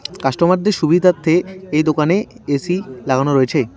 Customer -দের সুবিধার্থে এই দোকানে এ_সি লাগানো রয়েছে।